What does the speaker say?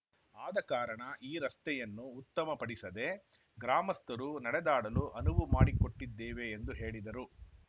ಆದ ಕಾರಣ ಈ ರಸ್ತೆಯನ್ನು ಉತ್ತಮ ಪಡಿಸದೇ ಗ್ರಾಮಸ್ಥರು ನಡೆದಾಡಲು ಅನುವುಮಾಡಿಕೊಟ್ಟಿದ್ದೇವೆ ಎಂದು ಹೇಳಿದರು